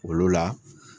Olu la